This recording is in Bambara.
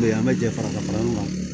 an bɛ jɛ farafin furakɛlaw kan